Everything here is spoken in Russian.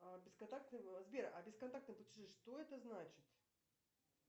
сбер а бесконтактные платежи что это значит